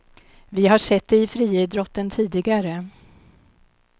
Vi har sett det i friidrotten tidigare.